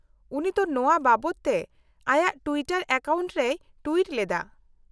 -ᱩᱱᱤ ᱫᱚ ᱱᱚᱶᱟ ᱵᱟᱵᱚᱫ ᱛᱮ ᱟᱭᱟᱜ ᱴᱩᱭᱤᱴᱟᱨ ᱮᱠᱟᱣᱩᱱᱴ ᱨᱮᱭ ᱴᱩᱭᱤᱴ ᱞᱮᱫᱟ ᱾